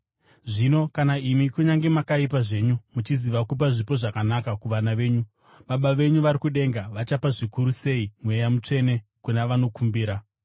Zvino kana imi, kunyange makaipa zvenyu, muchiziva kupa zvipo zvakanaka kuvana venyu, Baba venyu vari kudenga vachapa zvikuru sei Mweya Mutsvene kuna vanomukumbira!”